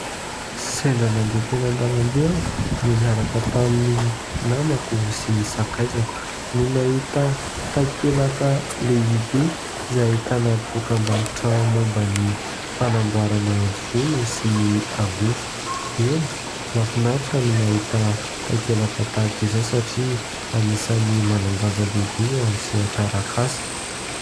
Sendra nandeha teny an-dalambe aho no niaraka tamin'ny namako sy ny sakaizako, no nahita takelaka lehibe izay ahitana dokam-barotra momban'ny fanamboarana volo sy ny angofo. Eny, mahafinaritra no mahita takelaka tahaka izao satria anisan'ny manan-danja lehibe eo amin'ny sehatra arak'asa.